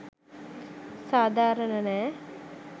සාදාරන නෑ.